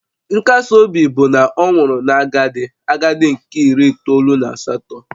Nkasi obi bụ na ọ nwụrụ na agadi agadi nke iri itoolu na asatọ